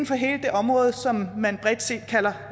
fra hele det område som man bredt set kalder